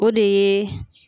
O de ye